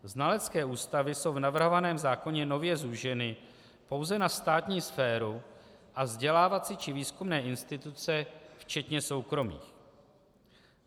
Znalecké ústavy jsou v navrhovaném zákoně nově zúženy pouze na státní sféru a vzdělávací či výzkumné instituce včetně soukromých.